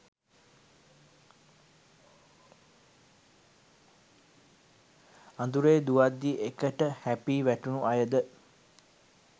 අඳුරේ දුවද්දී එකට හැපී වැටුණු අය ද